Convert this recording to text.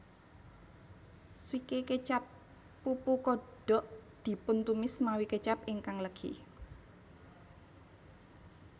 Swike kecap pupu kodok dipuntumis mawi kecap ingkang legi